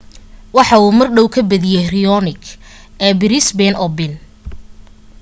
waxa uu mardhow ka badiye raonic ee brisbane open